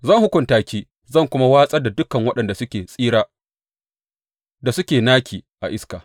Zan hukunta ki zan kuma watsar da dukan waɗanda suke tsira da suke naki a iska.